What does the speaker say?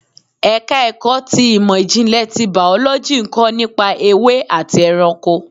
Ẹ̀ka ẹ̀kọ́ ti ìmò ìjìnlẹ̀ tí Bàọ́lọ́jì ń kọ́ nípa ewé àti ẹranko.